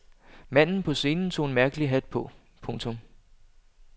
Manden på scenen tog en mærkelig hat på. punktum